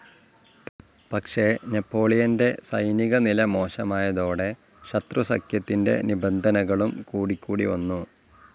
പക്ഷെ നെപോളിയന്റെ സൈനികനില മോശമായതോടെ ശത്രുസഖ്യത്തിന്റെ നിബന്ധനകളും കൂടിക്കൂടി വന്നു.